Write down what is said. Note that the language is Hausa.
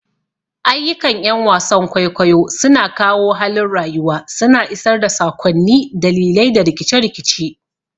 Ayyukan ƴan wasan kwaikwayo suna kawo halin rayuwa, suna isar da sakonni, dalilai, da rikice-rikice.